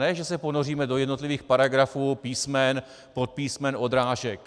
Ne, že se ponoříme do jednotlivých paragrafů, písmen, podpísmen, odrážek.